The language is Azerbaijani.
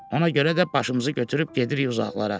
Ona görə də başımızı götürüb gedirik uzaqlara.